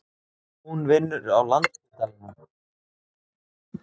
Hún vinnur á Landspítalanum.